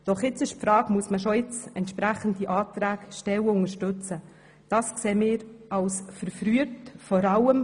Doch nun besteht die Frage, ob man jetzt schon entsprechende Anträge stellen oder solche unterstützen soll.